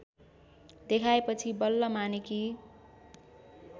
देखाएपछि बल्ल मानेकी